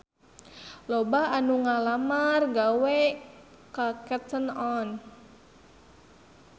Loba anu ngalamar gawe ka Cotton On